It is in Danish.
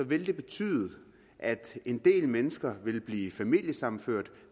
ville det betyde at en del mennesker ville blive familiesammenført